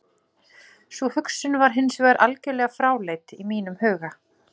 Sú hugsun var hins vegar algjörlega fráleit í mínum huga.